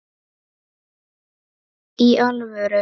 Í alvöru.